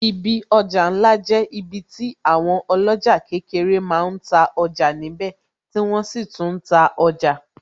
Ibi ọjà ńlá jẹ́ ibi tí àwọn oloja kékeré máa ń ta ọjà níbè tí wọ́n sì tún ta ọjà